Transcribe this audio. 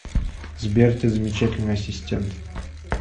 сбер ты замечательный ассистент